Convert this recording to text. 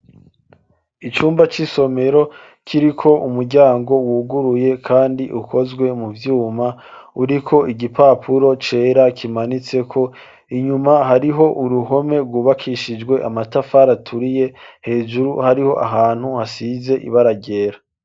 icumba c'isomero kiriko umuryango wuguruye kandi ukozwe mu vyuma ,uriko igipapuro cera kimanitseko , inyuma hariho uruhome rwubakishijwe amatafar'aturiye, hejuru hariho ahantu hasize ibara ryera.